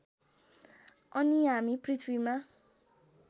अनि हामी पृथ्वीमा